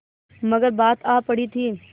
मगर बात आ पड़ी थी